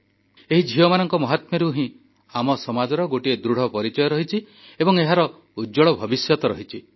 ଏହି ଝିଅମାନଙ୍କ ମହାତ୍ମ୍ୟରୁ ହିଁ ଆମ ସମାଜର ଗୋଟିଏ ଦୃଢ଼ ପରିଚୟ ରହିଛି ଏବଂ ଏହାର ଉଜ୍ଜ୍ୱଳ ଭବିଷ୍ୟତ ରହିଛି